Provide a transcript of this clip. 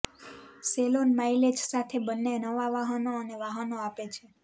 salon mileage સાથે બંને નવા વાહનો અને વાહનો આપે છે